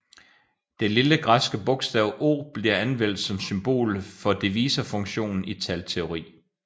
Det lille græske bogstav σ bliver anvendt som symbol for divisorfunktionen i talteori